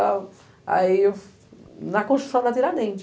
e tal. Aí eu, na construção da tiradentes.